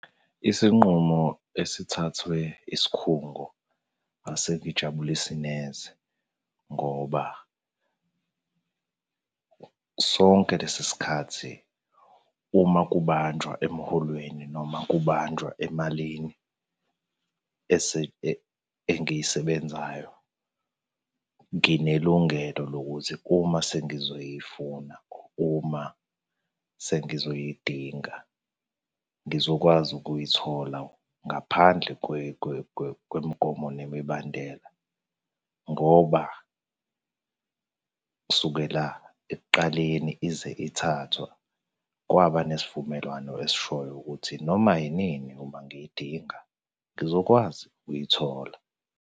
Isinqumo esithathwe isikhungo asingijabulisi neze, ngoba sonke lesi sikhathi uma kubanjwa emholweni noma kubanjwa emalini engiyisebenzayo nginelungelo lokuthi uma sengizoyifuna, uma sengizoyidinga, ngizokwazi ukuyithola ngaphandle kwemigomo nemibandela, ngoba kusukela ekuqaleni ize ithathwa, kwaba nesivumelwano esishoyo ukuthi noma yinini uma ngiyidinga ngizokwazi ukuyithola.